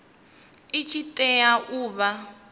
i tshi tea u vha